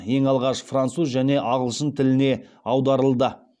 ең алғаш француз және ағылшын тіліне аударылды